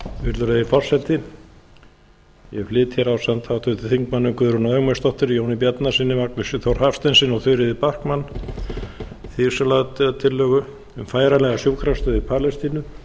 virðulegi forseti ég flyt hér ásamt háttvirtum þingmönnum guðrúnu ögmundsdóttur jóni bjarnasyni magnúsi þór hafsteinssyni og þuríði backman þingsályktunartillögu um færanlega sjúkrastöð í palestínu